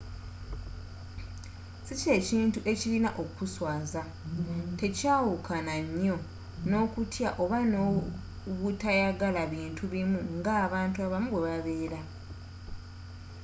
si kye kintu ekirina okuswazza tekyawukana nyo n'okutya oba obutayagala bintu bimu nga abantu abamu bwebabela